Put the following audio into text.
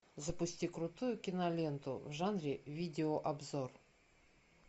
запусти крутую киноленту в жанре видеообзор